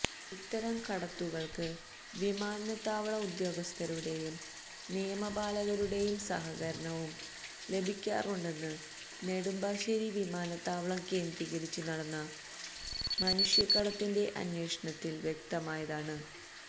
ഇത്തരം കടത്തുകള്ക്ക് വിമാനത്താവള ഉദ്യോഗസ്ഥരുടെയും നിയമപാലകരുടെയും സഹകരണവും ലഭിക്കാറുണ്ടെന്ന് നെടുമ്പാശ്ശേരി വിമാനത്താവളം കേന്ദ്രീകരിച്ചു നടന്ന മനുഷ്യക്കടത്തിന്റെ അന്വേഷണത്തില് വ്യക്തമായതാണ്